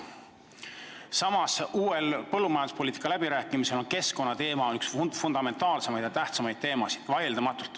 Samas on põllumajanduspoliitika läbirääkimistel keskkonnateema vaieldamatult üks fundamentaalseid ja kõige tähtsamaid teemasid.